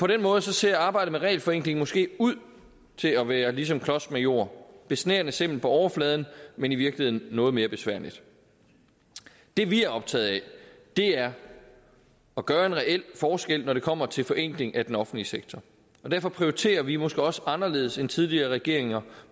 den måde ser arbejdet med regelforenkling måske ud til at være ligesom klodsmajor besnærende simpelt på overfladen men i virkeligheden noget mere besværligt det vi er optaget af er at gøre en reel forskel når det kommer til forenkling af den offentlige sektor og derfor prioriterer vi måske også anderledes end tidligere regeringer